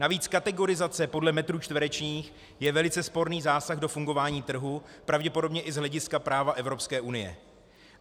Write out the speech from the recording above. Navíc kategorizace podle metrů čtverečních je velice sporný zásah do fungování trhu, pravděpodobně i z hlediska práva Evropské unie.